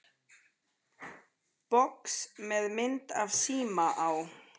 Box með mynd af síma á.